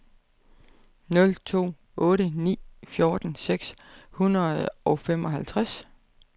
nul to otte ni fjorten seks hundrede og femoghalvtreds